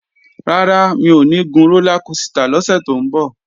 Rárá, mi ò ní gun rólá kosità lọ́sẹ̀ tó ń bọ̀